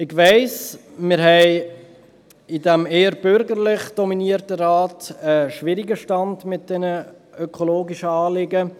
Ich weiss, wir haben in diesem eher bürgerlich dominierten Rat einen eher schwierigen Stand mit diesen ökologischen Anliegen.